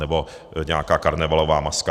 Nebo nějaká karnevalová maska.